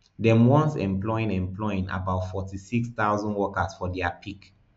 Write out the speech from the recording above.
dem once employing employing about forty-six thousand workers for dia peak